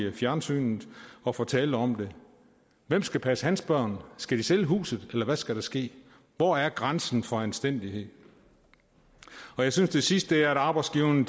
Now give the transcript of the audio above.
fjernsynet og fortalte om det hvem skal passe hans børn skal de sælge huset eller hvad skal der ske hvor er grænsen for anstændighed jeg synes det sidste er at arbejdsgiverne